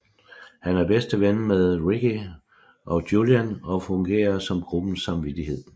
Han er bedste ven med Ricky og Julian og fungerer som gruppens samvittighed